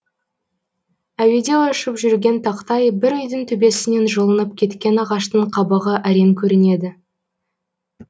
әуеде ұшып жүрген тақтай бір үйдің төбесінен жұлынып кеткен ағаштың қабығы әрең көрінеді